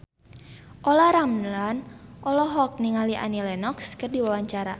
Olla Ramlan olohok ningali Annie Lenox keur diwawancara